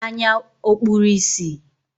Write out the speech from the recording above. Anya ọ̀ kpuru ìsì?